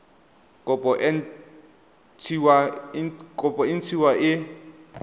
kopo e nt hwa e